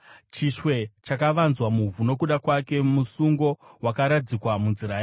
Chishwe chakavanzwa muvhu nokuda kwake; musungo wakaradzikwa munzira yake.